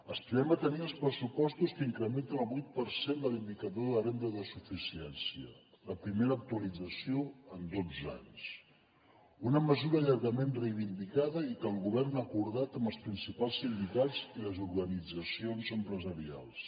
aspirem a tenir els pressupostos que incrementen el vuit per cent de l’indicador de renda de suficiència la primera actualització en dotze anys una mesura llargament reivindicada i que el govern ha acordat amb els principals sindicats i les organitzacions empresarials